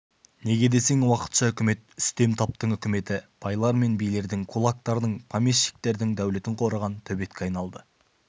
неге десең уақытша үкімет үстем таптың үкіметі байлар мен билердің кулактардың помещиктердің дәулетін қорыған төбетке айналды